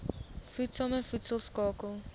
voedsame voedsel skakel